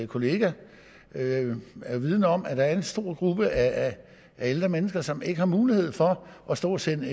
kollega er vidende om at der er en stor gruppe af ældre mennesker som ikke har mulighed for at stå og sende